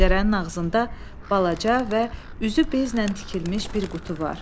Pəncərənin ağzında balaca və üzü bezlə tikilmiş bir qutu var.